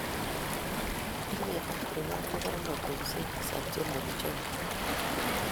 tinyei Afrika mogornotosiek tisab che mokichobei